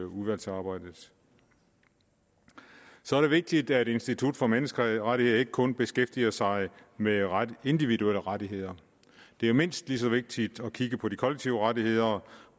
udvalgsarbejdet så er det vigtigt at institut for menneskerettigheder ikke kun beskæftiger sig med individuelle rettigheder det er mindst lige så vigtigt at kigge på de kollektive rettigheder